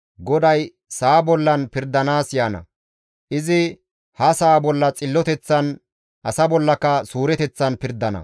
GODAY sa7a bollan pirdanaas yaana; izi ha sa7a bolla xilloteththan asa bollaka suureteththan pirdana.